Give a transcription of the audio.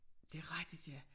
Det rigtigt ja